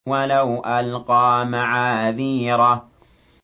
وَلَوْ أَلْقَىٰ مَعَاذِيرَهُ